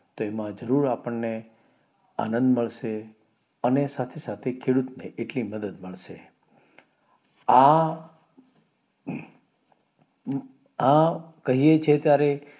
તેમાં જરૂર અમને આનંદ મળે અને સાથે સાથે ખેડૂતને મદદ મળશે આ આ કહીયે છીએ ત્યારે